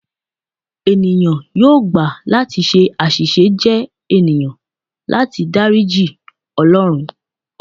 Eniyan yoo gba lati ṣe aṣiṣe jẹ eniyan, lati dariji Ọlọrun